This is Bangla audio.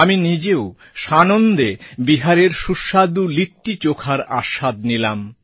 আমি নিজেও সানন্দে বিহারের সুস্বাদু লিট্টিচোখার আস্বাদ নিলাম